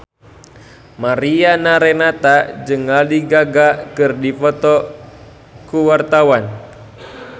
Mariana Renata jeung Lady Gaga keur dipoto ku wartawan